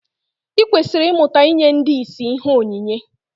I kwesịrị ịmụta inye ndị ìsì ihe onyinye